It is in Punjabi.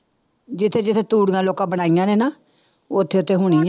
ਜਿੱਥੇ ਜਿੱਥੇ ਤੂੜੀਆਂ ਲੋਕਾਂ ਬਣਾਈਆਂ ਨੇ ਨਾ ਉੱਥੇ ਉੱਥੇ ਹੋਣੀ ਆਂ